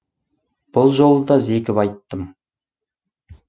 бұл жолы да зекіп айттым